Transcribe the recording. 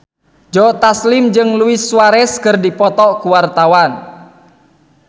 Joe Taslim jeung Luis Suarez keur dipoto ku wartawan